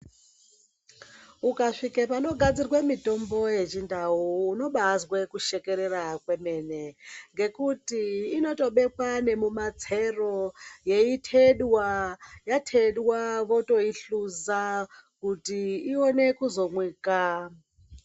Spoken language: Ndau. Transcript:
Ukasvike panogadzirwe mitombo yechindau unobazwe kushekerera kwemene ngekuti inotobekwa nemumatsero yeitedwa, yatedwa votoihluza kuti ione kuzomwika.